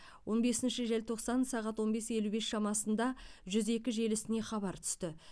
он бесінші желтоқсан сағат он бес елу бес шамасында жүз екі желісіне хабар түсті